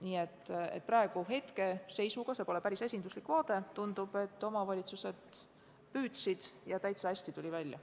Nii et praeguse hetke seisuga – see pole päris esinduslik vaade – tundub, et omavalitsused püüdsid ja täitsa hästi tuli välja.